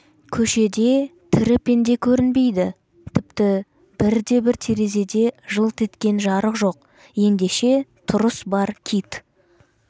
көшеде тірі пенде көрінбейді тіпті бірде-бір терезеде жылт еткен жарық жоқ ендеше тұрыс бар кит